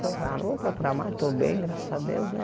Ah não vou procurar mais, estou bem, graças a Deus, né?